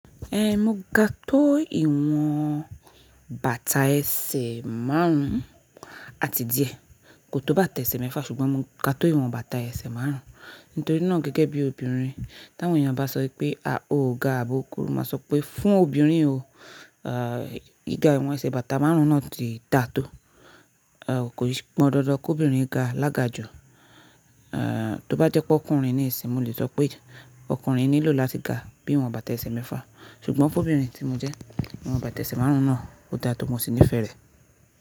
Eh, mo ga tó ìwọ̀n bàtà ẹsẹ̀ márùn-ún àti díẹ̀, kò tó bàtà ẹsẹ̀ mẹ́fà, ṣùgbọ́n mo ga tó ìwọ̀n bàtà ẹsẹ̀ márùn-ún. Nítorí náà gẹ́gẹ́ bí obìnrin, tí àwọn èèyàn bá sọ pé, "à, o ga àbó kùru", ma sọ pé, "fún obìnrin o, ìga ìwọ̀n ẹsẹ̀ bàtà márùn-ún náà ti dà tó". Ẹ̀, kò se pọn dandan kí obìnrin ga lága ju. Ẹ̀, tó bá jẹ́ pé ọkùnrin nisìn, mo lè sọ pé ọkùnrin nílò láti ga bí ìwọ̀n bàtà ẹsẹ̀ mẹ́fà. Ṣùgbọ́n fún obìnrin tí mo jẹ́, ìwọ̀n bàtà ẹsẹ̀ márùn-ún náà ó dà tó mo sì nífẹ̀ẹ́ rẹ̀